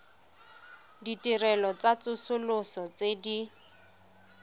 ditirelo tsa tsosoloso tse di